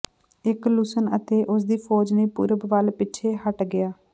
ਇਕ ਲੁਸਨ ਅਤੇ ਉਸਦੀ ਫ਼ੌਜ ਨੇ ਪੂਰਬ ਵੱਲ ਪਿੱਛੇ ਹੱਟ ਗਿਆ